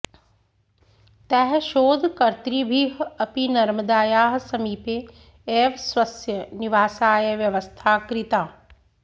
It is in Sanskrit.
तैः शोधकर्तृभिः अपि नर्मदायाः समीपे एव स्वस्य निवासाय व्यवस्था कृता